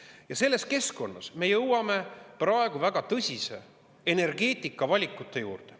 Ja selles keskkonnas me jõuame praegu väga tõsiste energeetikavalikute juurde.